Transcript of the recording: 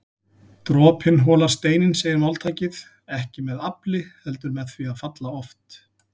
Dropinn holar steininn segir máltækið, ekki með afli heldur með því að falla oft